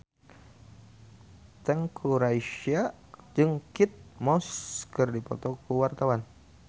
Teuku Rassya jeung Kate Moss keur dipoto ku wartawan